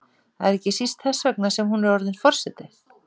Það er ekki síst þess vegna sem hún er orðin forseti.